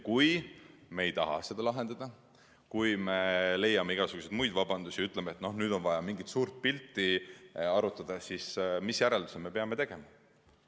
Kui me ei taha neid lahendada, kui me leiame igasuguseid vabandusi, ütleme, et nüüd on vaja mingit suurt pilti arutada, siis mis järelduse me peame tegema?